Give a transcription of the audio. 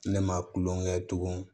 Ne ma kulon kɛ tugun